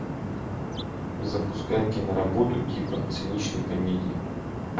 запускай киноработу типа циничной комедии